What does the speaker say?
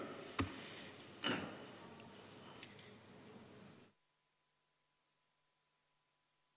Istungi lõpp kell 18.26.